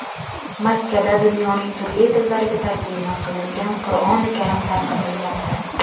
Makkada dunyoning turli tillariga tarjima qilingan Qur’oni karim tarqatilmoqda.